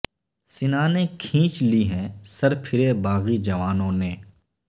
سنانیں کھینچ لی ہیں سر پھرے باغی جوانوں نے